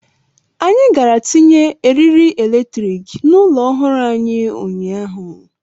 Anyị gara tinye eriri eletrik n'ụlọ ọhụrụ anyị ụnyaahụ.